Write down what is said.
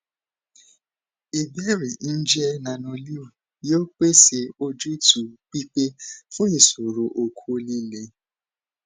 ìbéèrè njẹ nanoleo yoo pese ojutu pipe fun iṣoro okó lile